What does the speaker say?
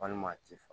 Walima a ti fa